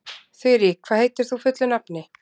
Þurí, hvað heitir þú fullu nafni?